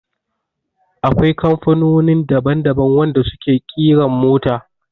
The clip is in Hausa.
Akwai kamfanonin daban daban wanda su ke ƙiran mota